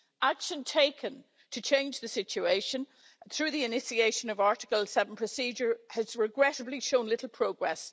Action taken to change the situation through the initiation of the Article 7 procedure has regrettably shown little progress.